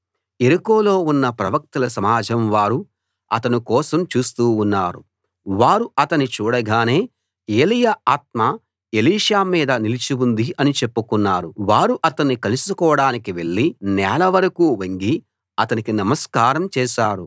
యెరికోలో ఉన్న ప్రవక్తల సమాజం వారు అతని కోసం చూస్తూ ఉన్నారు వారు అతని చూడగానే ఏలీయా ఆత్మ ఎలీషా మీద నిలిచి ఉంది అని చెప్పుకున్నారు వారు అతణ్ణి కలుసుకోడానికి వెళ్ళి నేల వరకూ వంగి అతనికి నమస్కారం చేశారు